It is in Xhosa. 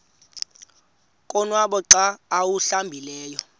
konwaba xa awuhlambileyo